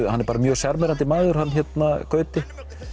hann er bara mjög sjarmerandi maður hann Gauti